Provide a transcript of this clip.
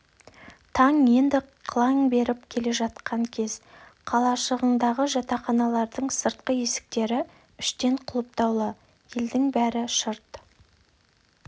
таң енді қылаң беріп келе жатқан кез қалашығындағы жатақханалардың сыртқы есіктері іштен құлыптаулы елдің бәрі шырт